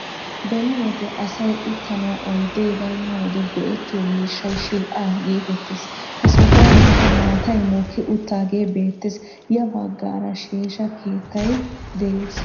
Beni wode asay uttanawu oydee baynna wode go"ettiyoo miishshay shidh"aa gettetees. Ha sohuwankka maatay mokki uttagee beettees. Ya baggaara sheeshsha keettay de'ees.